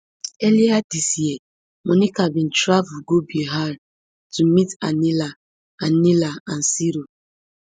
earlier dis year monica bin travel go bihar to meet anila anila and siro